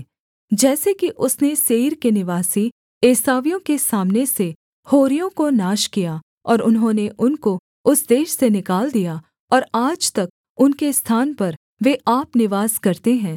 जैसे कि उसने सेईर के निवासी एसावियों के सामने से होरियों को नाश किया और उन्होंने उनको उस देश से निकाल दिया और आज तक उनके स्थान पर वे आप निवास करते हैं